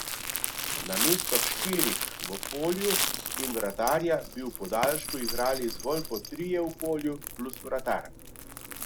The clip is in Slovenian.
Namesto štirih v polju in vratarja bi v podaljšku igrali zgolj po trije v polju plus vratar.